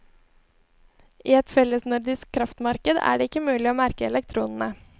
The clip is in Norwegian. I et fellesnordisk kraftmarked er det ikke mulig å merke elektronene.